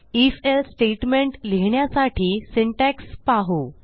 if else statement लिहिण्यासाठी syntax पाहू